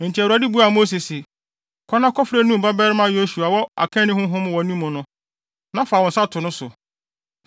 Enti Awurade buaa Mose se, “Kɔ na kɔfrɛ Nun babarima Yosua a ɔwɔ akanni honhom wɔ ne mu no, na fa wo nsa to no so.